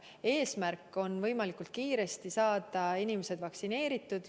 Eesmärk on võimalikult kiiresti saada inimesed vaktsineeritud.